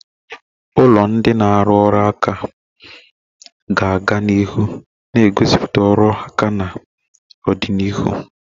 Ụlọ ndị na-arụ ọrụ nka ga-aga na ihu na-egosipụta ọrụ aka na ọdịnihu.